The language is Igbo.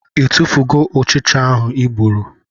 I tufugo ụchịcha ahụ I gburu?